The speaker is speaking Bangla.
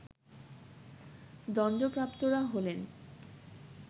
দণ্ডপ্রাপ্তরা হলেন